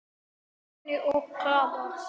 Svenni og Klara!